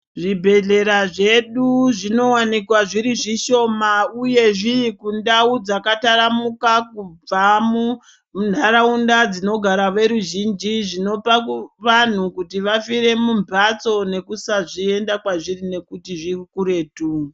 Zvibhehlera zvedu zvinowanikwa zviri zvishoma uye zviri kundau dzakataramuka kubva munharaunda dzinogara veruzhinji zvinopa vanhu kuti vafire mumhatso nekusaenda kwezviri ngekuti zvirikuretu.